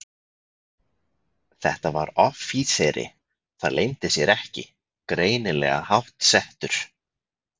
Þetta var offíseri, það leyndi sér ekki, greinilega háttsettur.